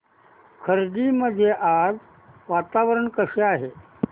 खर्डी मध्ये आज वातावरण कसे आहे